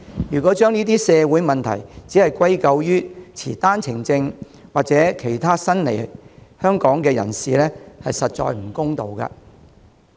如果將這些社會問題完全歸咎於持單程證或其他新來港人士，實在不公道。